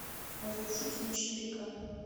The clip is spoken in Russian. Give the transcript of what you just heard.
разрушители четыре к